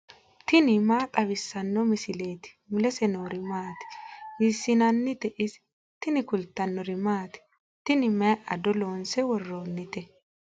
tini maa xawissanno misileeti ? mulese noori maati ? hiissinannite ise ? tini kultannori maati? Tini mayi ado loonse woroonnitte?